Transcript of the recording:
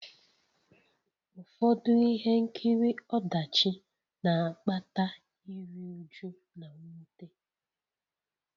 Ụfọdụ ihe nkiri ọdachi na-akpata iru újú na mwute